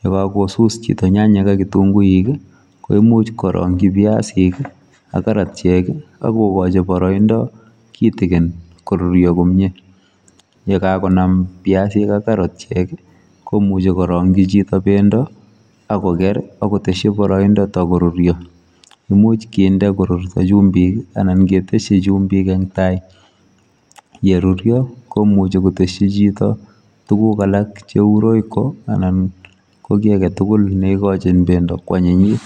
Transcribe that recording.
,ye kakosuus chitoo nyanyek ak kitunguuik ii koimuuch ko imuuch koranyii biasiik ak karatiek ago kachi baraindaa kitikin ako koi koruria komyei biasiik ak karatiek komuchei korangyii chitoo bendo agoger ako tesyii akoruria imuuch kinde korurta chumbiik anan kindee korurtaa en tai ye ruria komuchei kotesyii chitoo tuguuk alaak che uu royco anan ko kiy age tugul neigochiin bendo ko anyinyiin.